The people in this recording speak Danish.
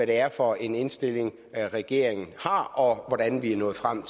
det er for en indstilling regeringen har og hvordan vi er nået frem